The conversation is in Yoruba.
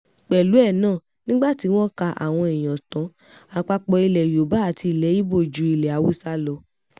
pẹ̀lú ẹ̀ náà nígbà tí wọ́n ka àwọn èèyàn tán àpapọ̀ ilẹ̀ yorùbá àti ilẹ̀ ibo ju ilẹ̀ haúsá lọ